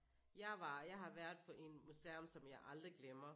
Jeg har været på en museum som jeg aldrig glemmer